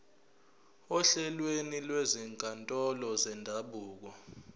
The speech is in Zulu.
ohlelweni lwezinkantolo zendabuko